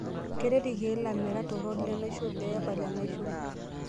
Keret ilkeek lamerak torok lenaisho pee epal enaisho.